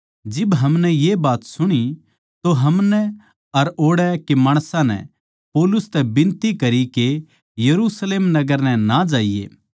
जिब हमनै ये बात सुणी तो हमनै अर ओड़ै के माणसां नै पौलुस तै बिनती करी के यरुशलेम नगर नै ना जाइए